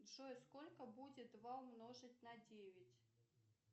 джой сколько будет два умножить на девять